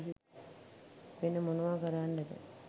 වෙන මොනවා කරන්ඩද?